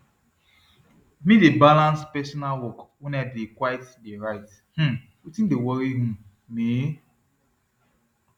me de balans personal work wen i dey quite dey write um wetin de worry um me